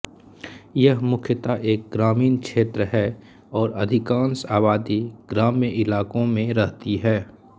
यह मुख्यतः एक ग्रामीण क्षेत्र है और अधिकांश आबादी ग्राम्य इलाक़ों में रहती है